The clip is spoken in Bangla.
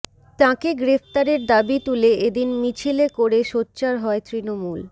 তাঁকে গ্রেফতারের দাবি তুলে এদিন মিছিলে করে সোচ্চার হয় তৃণমূল